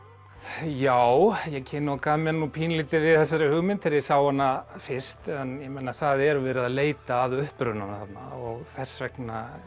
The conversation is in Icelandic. já ég kinokaði mér nú pínulítið við þessari hugmynd þegar ég sá hana fyrst en ég meina það er verið að leita að upprunanum þarna og þess vegna